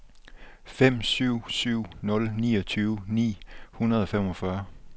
fem syv syv nul niogtyve ni hundrede og femogfyrre